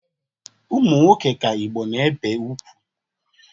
Ụmụnwoke ka Igbo na-ebe ugwu.